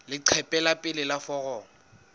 leqephe la pele la foromo